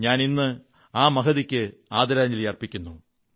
ഞാൻ ഇന്ന് ആ മഹതിക്ക് ആദരാഞ്ജലി അർപ്പിക്കുന്നു